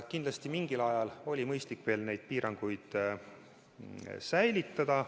Kindlasti oli mingi aja mõistlik veel neid piiranguid säilitada.